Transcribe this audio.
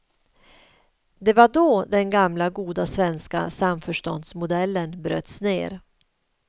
Det var då den gamla goda svenska samförståndsmodellen bröts ned.